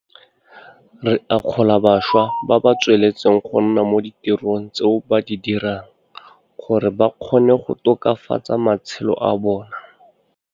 Re akgola bašwa ba ba tsweletseng go nna mo ditirong tseo ba di dirang gore ba kgone go tokafatsa matshelo a bona.